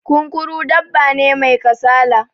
Kunkuru dabba ne mai kasala